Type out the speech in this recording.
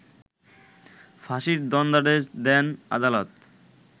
ফাঁসির দণ্ডাদেশ দেন আদালত